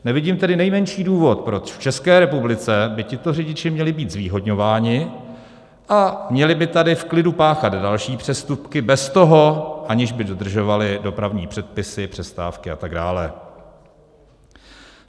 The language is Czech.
Nevidím tedy nejmenší důvod, proč v České republice by tito řidiči měli být zvýhodňováni a měli by tady v klidu páchat další přestupky bez toho, aniž by dodržovali dopravní předpisy, přestávky a tak dále.